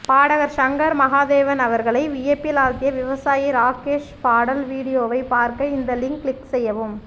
பாடகர் ஷங்கர் மகாதேவன் அவர்களை வியப்பில் ஆழ்த்திய விவசாயி ராகேஷ் பாடல் வீடியோவை பார்க்க இந்த லிங்க் கிளிக் செய்யவும்